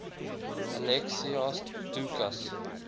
alexios doukas